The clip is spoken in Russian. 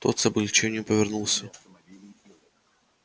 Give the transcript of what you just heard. тот с облегчением повернулся